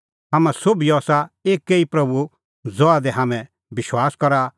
हाम्हां सोभिओ आसा एक्कै ई प्रभू ज़हा दी हाम्हैं विश्वास करा और हाम्हैं सोभी आसा तेऊ ई मसीहे नांओंऐं डुबकी लई दी